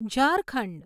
Jharkhand